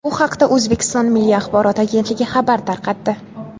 Bu haqda O‘zbekiston Milliy axborot agentligi xabar tarqatdi .